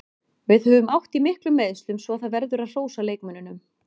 Við höfum átt í miklum meiðslum svo það verður að hrósa leikmönnunum.